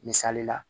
Misali la